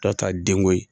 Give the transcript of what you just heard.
Dɔ ta denko ye